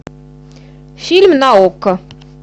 фильм на окко